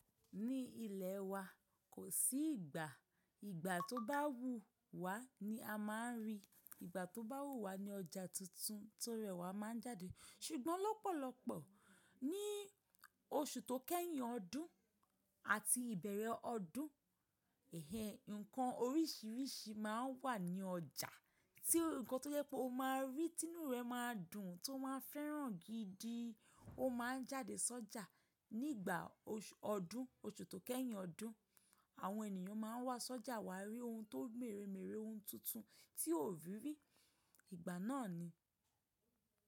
Ní ilẹ̀ wa kò sí ìgbà, ìgbà tó bá wù wá ni a máa ń rí, ìgbà tó bá wù wá ni ọjà tuntun tó rẹwà máa ń jáde. Ṣùgbọ́n lọ́pọ̀lọpọ̀ ní oṣù tó kẹ́yìn ọdún àti ìbẹ̀rẹ̀ ọdún, ẹhe nǹkan oríṣiríṣi máa ń wà ní ọjà tí nǹkan tó yẹ pé o máa rí, inú rẹ máa dùn tí o máa fẹ́ràn gidi, o máa jáde sọ́jà nígbà oṣù ọdún, oṣù tó kẹ́yìn ọdún. Àwọn ènìyàn máa ń wá sọ́jà wá rí ohun tó mèrè mèrè, ohun tuntun tí o ò rí rí, ìgbà náà ni.